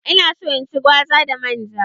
Ina so in ci gwaza da man ja.